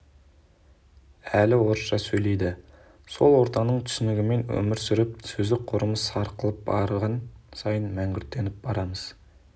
әлі орысша сөйлейді сол ортаның түсінігімен өмір сүріп сөздік қорымыз сарқылып барған сайын мәңгүрттеніп барамыз